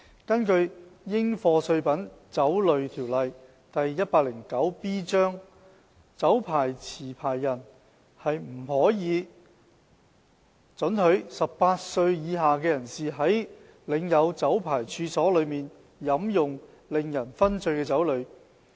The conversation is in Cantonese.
根據《應課稅品規例》，酒牌持有人不可以准許18歲以下人士在領有酒牌處所內飲用令人醺醉的酒類。